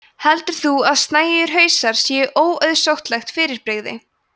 heldur þú að snæugir hausar séu óauðsóttlegt fyrirbrigði